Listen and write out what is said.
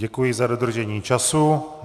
Děkuji za dodržení času.